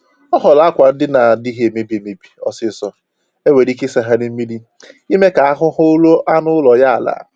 Ọ họọrọ akwa ndina na-adịghị emebi ọsịsọ e nwere ike ịsagharị mmiri ime ka ahụ ahụ rụo anụ ụlọ ya ala